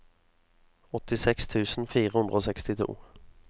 åttiseks tusen fire hundre og sekstito